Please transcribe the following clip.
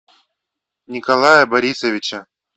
николая борисовича